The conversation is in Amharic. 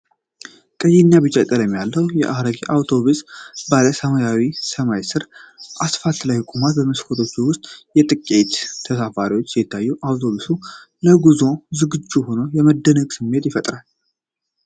ቀይና ቢጫ ቀለም ያለው አሮጌ አውቶብስ ጥርት ባለ ሰማያዊ ሰማይ ስር አስፋልት ላይ ቆሟል። በመስኮቶቹ ውስጥ ጥቂት ተሳፋሪዎች ሲታዩ፣ አውቶቡሱ ለጉዞ ዝግጁ ሆኖ የመደነቅ ስሜት ይፈጥራል።